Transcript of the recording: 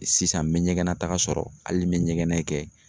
Sisan n bɛ ɲɛgɛnnataga sɔrɔ hali n bɛ ɲɛgɛnɛ kɛ